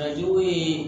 A jugu ye